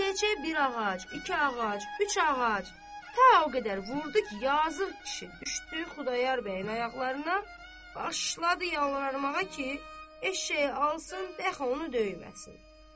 Eşşəkçiyə bir ağac, iki ağac, üç ağac, ta o qədər vurdu ki, yazıq kişi düşdü Xudayar bəyin ayaqlarına, başladı yalvarmağa ki, eşşəyi alsın, bəlkə onu döyməsin.